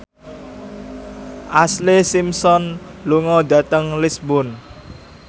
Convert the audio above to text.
Ashlee Simpson lunga dhateng Lisburn